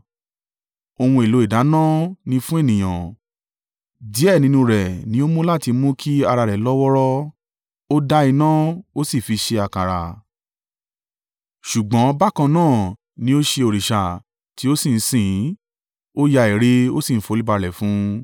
Ohun èlò ìdáná ni fún ènìyàn; díẹ̀ nínú rẹ̀ ni ó mú láti mú kí ara rẹ̀ lọ́wọ́ọ́rọ́, ó dá iná ó sì fi ṣe àkàrà. Ṣùgbọ́n bákan náà ni ó ṣe òrìṣà tí ó sì ń sìn ín; ó yá ère, ó sì ń foríbalẹ̀ fún un.